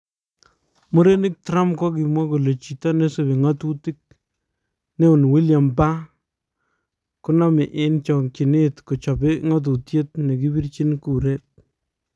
Murenik Trump kokimwa kole chito nesubii ngatutik neon William Baar konamii en chokchinet kochopee ngatutiet ne kibirchin kureet